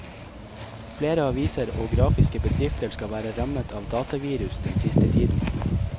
Flere aviser og grafiske bedrifter skal være rammet av datavirus den siste tiden.